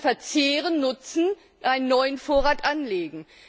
den Bestand verzehren, nutzen und einen neuen Vorrat anlegen.